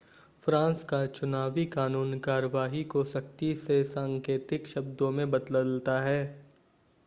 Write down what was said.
France का चुनावी कानून कार्यवाही को सख्ती से सांकेतिक शब्दों में बदलता है